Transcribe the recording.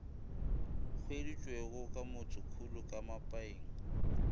hweditšwego ka motsemokhulu ka mapaing